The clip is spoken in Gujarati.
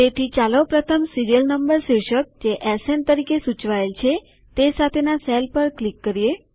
તેથી ચાલો પ્રથમ સીરીયલ નંબર શીર્ષક જે એસએન તરીકે સૂચવાયેલ છે તે સાથેના સેલ પર ક્લિક કરીએ